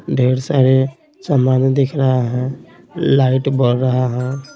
ढेर सारे सामान दिख रहा है लाइट बर रहा है।